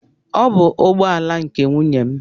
Ọ bụ ụgbọala nke nwunye m